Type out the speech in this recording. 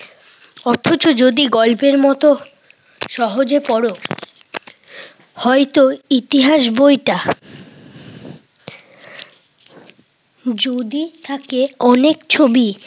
অথচ যদি গল্পের মতো সহজে পড় হয়তো ইতিহাস বইটা যদি থাকে অনেক ছবি,